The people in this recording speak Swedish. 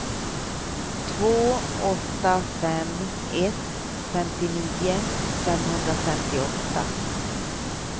två åtta fem ett femtionio femhundrafemtioåtta